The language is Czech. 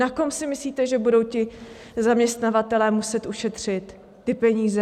Na kom si myslíte, že budou ti zaměstnavatelé muset ušetřit ty peníze?